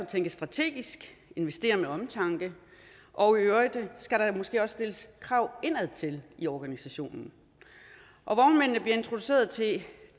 tænke strategisk investere med omtanke og i øvrigt skal der måske også stilles krav indadtil i organisationen vognmændene bliver introduceret til